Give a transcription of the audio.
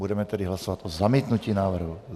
Budeme tedy hlasovat o zamítnutí návrhu.